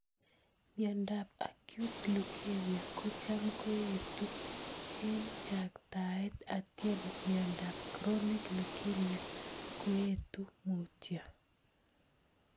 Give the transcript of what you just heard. Miondop Acute Lukemia ko cham koetu ing chaktaet atyem miondop Chronic Lukemia koetu mutyo.